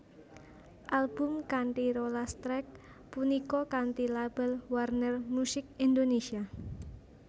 Album kanthi rolas track punika kanthi label Warner Music Indonesia